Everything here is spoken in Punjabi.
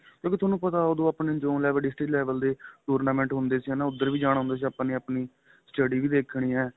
ਮਤਲਬ ਵੀ ਤੁਹਾਨੂੰ ਪਤਾ ਉਹਦੋ ਆਪਣੇ john level district level ਦੇ tournament ਹੁੰਦੇ ਸੀ ਹੈਨਾ ਉੱਧਰ ਵੀ ਜਾਣਾ ਹੁੰਦਾ ਸੀ ਆਪਾ ਨੇ ਆਪਣੀ study ਵੀ ਦੇਖਣੀ ਏ